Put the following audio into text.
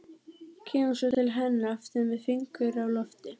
Kemur svo til hennar aftur með fingur á lofti.